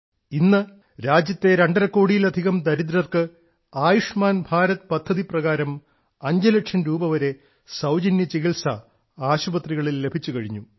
ഇന്ന് രാജ്യത്തെ രണ്ടരക്കോടിയിലധികം ദരിദ്രർക്ക് ആയുഷ്മാൻ ഭാരത് പദ്ധതി പ്രകാരം അഞ്ചുലക്ഷം രൂപവരെ സൌജന്യചികിത്സ ആശുപത്രികളിൽ ലഭിച്ചുകഴിഞ്ഞു